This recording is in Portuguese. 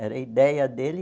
Era a ideia dele.